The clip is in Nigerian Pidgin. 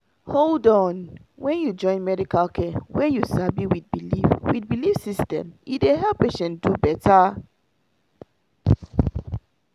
hold on — when you join medical care wey you sabi with belief with belief system e dey help patient do better